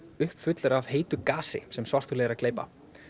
uppfullur af heitu gasi sem svartholið er að gleypa